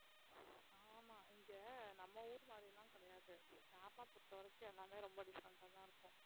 ஆமா இங்க நம்ம ஊர் மாதிரி எல்லாம் கிடையாது கேரளா பொறுத்தவரைக்கும் எல்லாமே ரொம்ப different ஆ தான் இருக்கும்